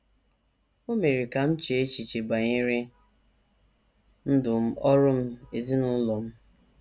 O mere ka m chee echiche banyere ndụ m, ọrụ m, ezinụlọ m.